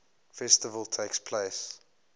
festival takes place